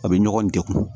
A bɛ ɲɔgɔn degun